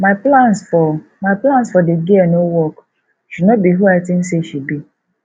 my plans for my plans for the girl no work she no be who i think say she be